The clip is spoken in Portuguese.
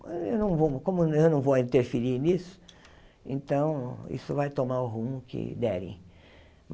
Eu não vou como eu não vou interferir nisso, então isso vai tomar o rumo que derem.